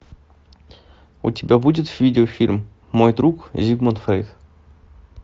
у тебя будет видеофильм мой друг зигмунд фрейд